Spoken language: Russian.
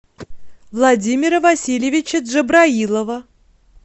владимира васильевича джабраилова